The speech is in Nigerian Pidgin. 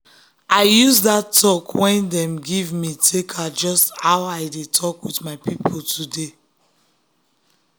i use that talk wey dem give me take adjust how i dey talk with my people today.